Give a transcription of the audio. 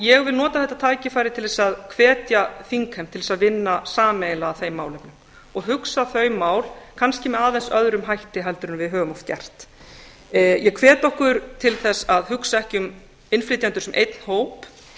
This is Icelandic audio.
ég vil nota þetta tækifæri til að hvetja þingheim til að vinna sameiginlega að þeim málum og hugsa þau mál kannski með aðeins öðrum hætti heldur en við höfum oft gert ég hvet okkur til að hugsa ekki um innflytjendur sem einn hóp þeir